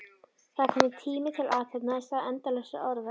Það er kominn tími til athafna í stað endalausra orða.